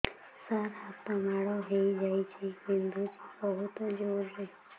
ସାର ହାତ ମାଡ଼ ହେଇଯାଇଛି ବିନ୍ଧୁଛି ବହୁତ ଜୋରରେ